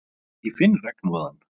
Ég fann regnúðann.